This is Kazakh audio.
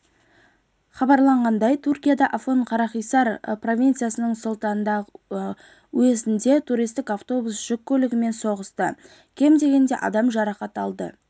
хабарлағандай түркияда афьонкарахисар провинциясының султандаг уездінде туристік автобус жүк көлігімен соқтығысты кем дегенде адам жарақат алды